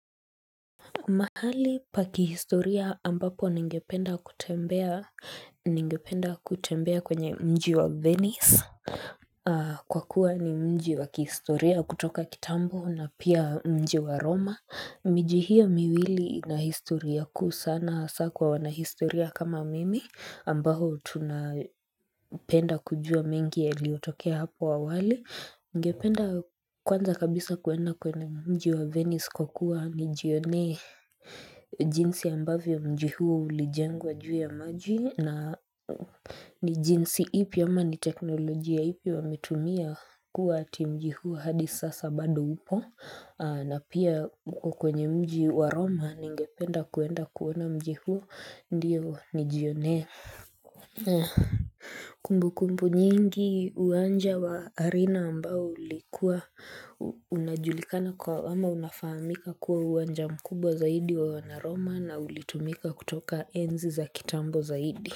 Mahali pa kihistoria ambapo ningependa kutembea, ningependa kutembea kwenye mji wa Venice, kwa kuwa ni mji wa kihistoria kutoka kitambo na pia mji wa Roma. Mji hiyo miwili ina historia kuu sana hasaa kwa wanahistoria kama mimi ambao tunapenda kujua mengi yaliyotokea hapo awali. Ningependa kwanza kabisa kuenda kwenye mji wa Venice kwa kuwa nijionee jinsi ambavyo mji huo ulijengwa juu ya maji na ni jinsi ipi ama ni teknolojia ipi wametumia kuwa ati mji huo hadi sasa bado upo na pia huko kwenye mji wa Roma ningependa kuenda kuona mji huo ndiyo nijionee Kumbukumbu nyingi uwanja wa Arena ambao ulikuwa unajulikana kwa ama unafahamika kuwa uwanja mkubwa zaidi wa wanaroma na ulitumika kutoka enzi za kitambo zaidi.